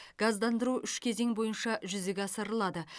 газдандыру үш кезең бойынша жүзеге асырылады